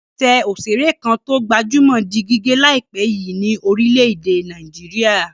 Ẹsẹ̀ òṣèré kan tó gbajúmọ̀ di gígé láìpẹ́ yìí ní orílẹ̀-èdè Nàìjíríà.